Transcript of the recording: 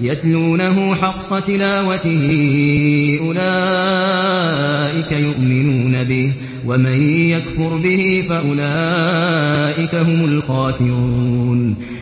يَتْلُونَهُ حَقَّ تِلَاوَتِهِ أُولَٰئِكَ يُؤْمِنُونَ بِهِ ۗ وَمَن يَكْفُرْ بِهِ فَأُولَٰئِكَ هُمُ الْخَاسِرُونَ